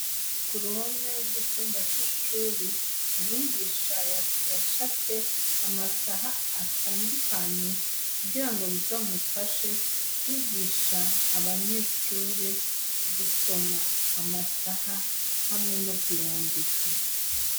Ku ruhome rw'icumba c'ishure , umwigisha yacafye amasaha atandukanye kugira ngo bizomufashe kwigisha abanyeshure gusoma amasaha hamwe no kuyandika.